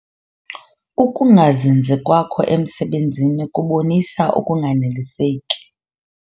Ukungazinzi kwakho emsebenzini kubonisa ukunganeliseki.